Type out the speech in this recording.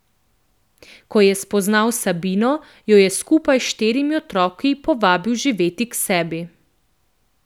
Ko je spoznal Sabino, jo je skupaj s štirimi otroki povabil živet k sebi.